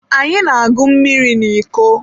Anyị na-agụ mmiri na iko.